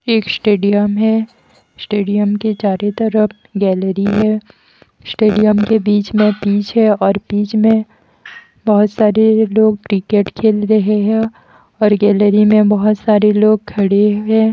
एक स्टेडियम है स्टेडियम के चारे तरफ गैलरी है स्टेडियम के बीच में पीच है और पीच में बहुत सारे लोग क्रिकेट खेल रहे हैं और गैलरी में बहुत सारे लोग खड़े हैं।